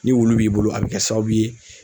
Ni wulu b'i bolo a bɛ kɛ sababu ye